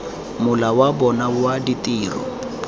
mola wa bona wa ditiro